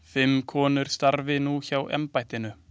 Fimm konur starfi nú hjá embættinu.